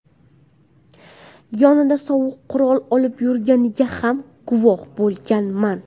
Yonida sovuq qurol olib yurganiga ham guvoh bo‘lmaganman.